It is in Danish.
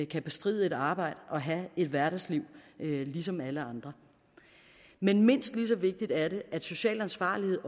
kan bestride et arbejde og have et hverdagsliv ligesom alle andre men mindst lige så vigtigt er det at social ansvarlighed